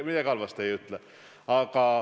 Midagi halvasti ei ütle.